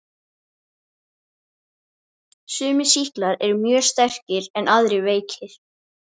Hvers vegna þurfti Tóti að láta svona.